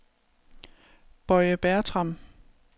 Boye Bertram